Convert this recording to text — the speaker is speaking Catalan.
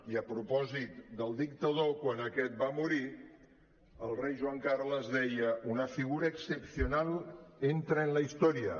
i a propòsit del dictador quan aquest va morir el rei joan carles deia una figura excepcional entra en la historia